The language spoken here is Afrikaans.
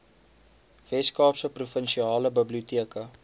weskaapse provinsiale biblioteke